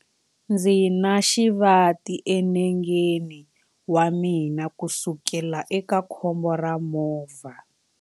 Ndzi na xivati enengeni wa mina kusukela eka khombo ra movha.